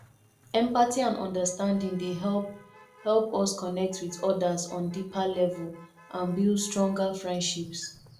empathy and understanding dey help help us connect with odas on deeper level and build stronger friendships